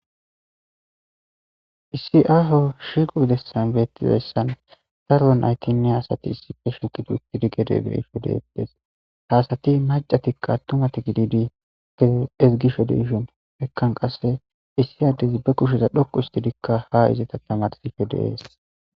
Issi aho shiqu gidessan beettizassan daro naytinne hasati issife shiqudu istidi gede geisho deetes haasati macatikka tumati gididi tee ezigisho de ishon mekkan qasse issi yaddezi be kusheza dhoqu histidikka ha izita tamadsife deees.